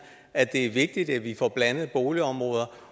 at det er vigtigt at vi får blandede boligområder